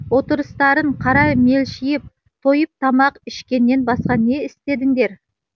отырыстарын қара мелшиіп тойып тамақ ішкеннен басқа не істедіңдер